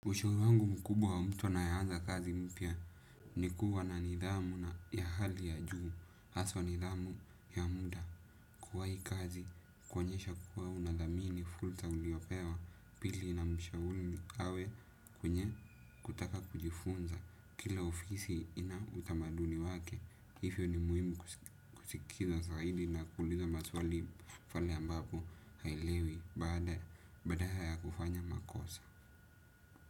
Ushauri wangu mkubwa wa mtu anayeanza kazi mpya ni kuwa na nidhamu ya hali ya juu, haswa nidhamu ya muda kuwahi kazi, kuonyesha kuwa unadhamini fursa uliopewa, pili namshauri awe kwenye kutaka kujifunza, kila ofisi ina utamaduni wake, hivyo ni muhimu kusikiza zaidi na kuuliza maswali pale ambapo haelewi baada badala ya kufanya makosa.